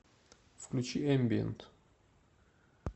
включи эмбиент